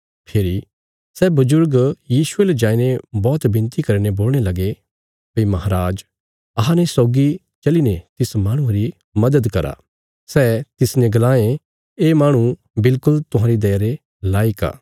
फेरी सै बजुर्ग यीशुये ले जाईने बौहत बिनती करीने बोलणे लगे भई माहराज अहांने सौगी चलीने तिस माहणुये री मदद करा सै तिसने गलायें ये माहणु बिल्कुल तुहांरी दया रे लायक आ